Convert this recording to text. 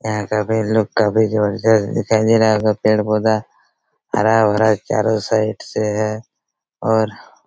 यहां का लुक काफी ज़बरदस्त दिखाई दे रहा होगा पेड़ पौधा हरा-भरा चारों साइड से हैं और--